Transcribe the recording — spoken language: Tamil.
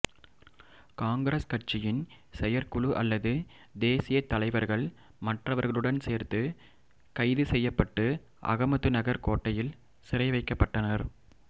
காங்கிரஸ் கட்சியின் செயற்குழு அல்லது தேசியத் தலைவர்கள் மற்றவர்களுடன் சேர்த்து கைது செய்யப்பட்டு அகமதுநகர் கோட்டையில் சிறைவைக்கப்பட்டனர்